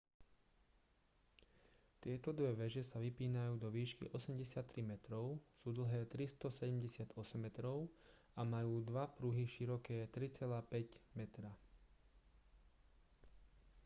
tieto dve veže sa vypínajú do výšky 83 metrov sú dlhé 378 metrov a majú dva pruhy široké 3,50 metra